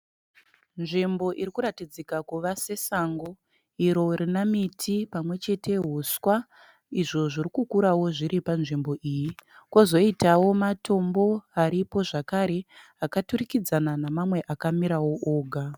Nzvimbo irikuratidzika kuva sesango iro rina miti pamwechete huswa, izvo zviri kukurao zviripo panzvimbo iyi. Kozoitao matombo aripo zvakare akaturikidzana nemamwe akamirao oga.